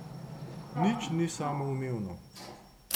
Nič ni samoumevno.